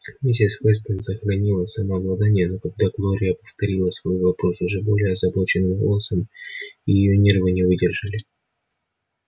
миссис вестон сохранила самообладание но когда глория повторила свой вопрос уже более озабоченным голосом и её нервы не выдержали